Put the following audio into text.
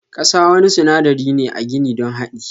Kasa wani sunadari ne a gini don hadi.